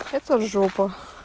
это жопа